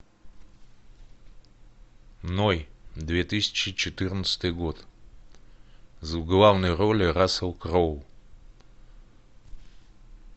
ной две тысячи четырнадцатый год в главной роли рассел кроу